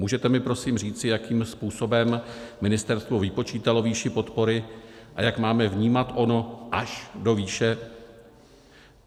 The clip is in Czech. Můžete mi prosím říci, jakým způsobem ministerstvo vypočítalo výši podpory a jak máme vnímat ono až do výše?